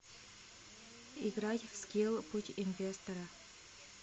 играть в скилл путь инвестора